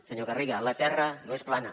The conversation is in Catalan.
senyor garriga la terra no és plana